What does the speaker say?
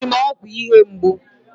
E ji m ọgwụ ihe mgbu.